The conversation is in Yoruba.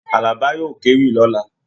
Àlàbá yóò kéwì lọ̀la.